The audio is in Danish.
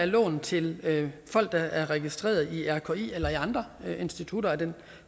lån til folk der er registreret i rki eller i andre institutter af